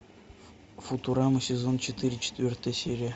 футурама сезон четыре четвертая серия